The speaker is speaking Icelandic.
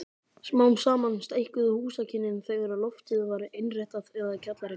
Smám saman stækkuðu húsakynnin þegar loftið var innréttað eða kjallarinn.